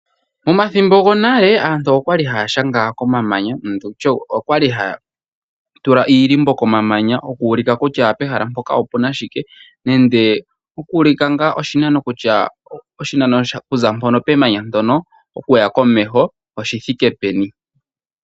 Omathimbo gonale, aantu okwa li haa shanga komamanya, ano tu tye, okwa li haa tula iilimbo komamanya. Oku ulika kutya ehala mpoka opu na shike, nende oku ulika ngaa oshinano kutya oshinano oku za mpono pemanya ndono oshi thike peni.